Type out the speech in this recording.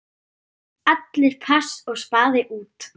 Allir pass og spaði út.